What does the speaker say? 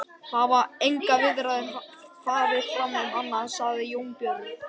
Það hafa engar viðræður farið fram um annað, sagði Jón Björn.